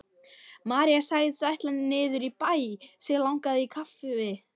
María sagðist ætla niður í bæ, sig langaði í kaffi.